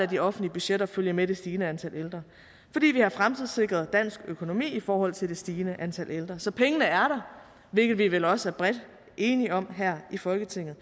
de offentlige budgetter følge med det stigende antal ældre fordi vi har fremtidssikret dansk økonomi i forhold til det stigende antal ældre så pengene er der hvilket vi vel også er enige om bredt her i folketinget